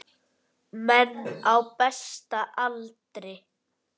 Menn á besta aldri.